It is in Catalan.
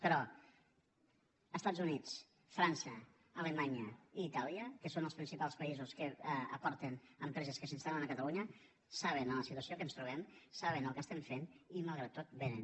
però els estats units frança alemanya i itàlia que són els principals països que aporten empreses que s’instal·len a catalunya saben la situació en què ens trobem saben el que fem i malgrat tot vénen